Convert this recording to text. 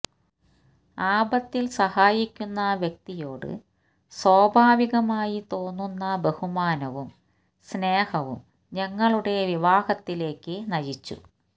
ആപത്തില് സഹായിക്കുന്ന വ്യക്തിയോട് സ്വാഭാവികമായി തോന്നുന്ന ബഹുമാനവും സ്നേഹവും ഞങ്ങളുടെ വിവാഹത്തിലേക്ക് നയിച്ചു